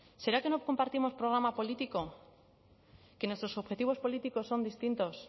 será que no compartimos programa político que nuestros objetivos políticos son distintos